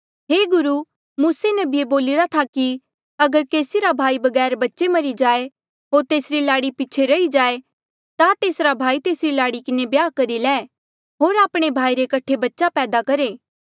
हे गुरु मूसे नबिये बोलिरा था कि अगर केसी रा भाई बगैर बच्चे मरी जाए होर तेसरी लाड़ी पीछे रही जाए ता तेसरा भाई तेसरी लाड़ी किन्हें ब्याह करी ले होर आपणे भाई रे कठे बच्चे पैदा करहे